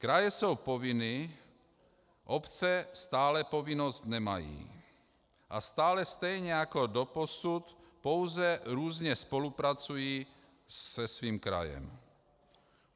Kraje jsou povinny, obce stále povinnost nemají a stále stejně jako doposud pouze různě spolupracují se svým krajem.